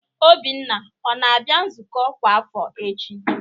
Obinna ọ na-abịa nzukọ ọkwa afọ echi?